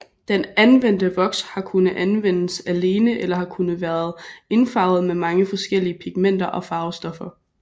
Den anvendte voks har kunne anvendes alene eller har kunnet været indfarvet med mange forskellige pigmenter og farvestoffer